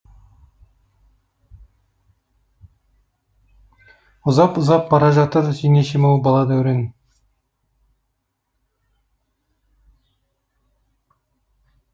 ұзап ұзап бара жатыр жеңешем ау бала дәурен